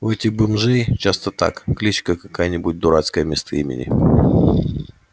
у этих бомжей часто так кличка какая-нибудь дурацкая вместо имени